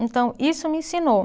Então, isso me ensinou.